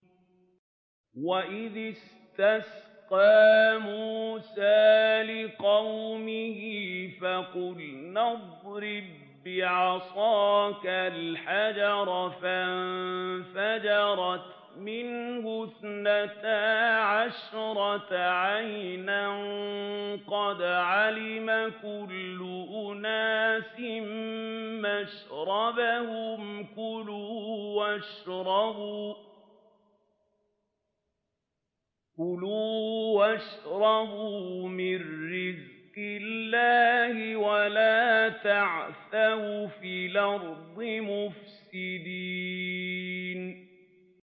۞ وَإِذِ اسْتَسْقَىٰ مُوسَىٰ لِقَوْمِهِ فَقُلْنَا اضْرِب بِّعَصَاكَ الْحَجَرَ ۖ فَانفَجَرَتْ مِنْهُ اثْنَتَا عَشْرَةَ عَيْنًا ۖ قَدْ عَلِمَ كُلُّ أُنَاسٍ مَّشْرَبَهُمْ ۖ كُلُوا وَاشْرَبُوا مِن رِّزْقِ اللَّهِ وَلَا تَعْثَوْا فِي الْأَرْضِ مُفْسِدِينَ